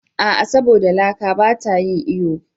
A'a! saboda laka ba ta yin iyo ba ne.